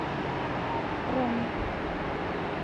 роме